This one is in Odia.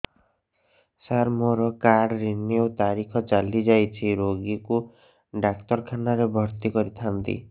ସାର ମୋର କାର୍ଡ ରିନିଉ ତାରିଖ ଚାଲି ଯାଇଛି ରୋଗୀକୁ ଡାକ୍ତରଖାନା ରେ ଭର୍ତି କରିଥାନ୍ତି